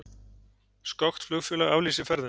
Skoskt flugfélag aflýsir ferðum